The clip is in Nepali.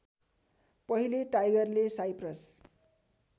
पहिले टाइगरले साइप्रस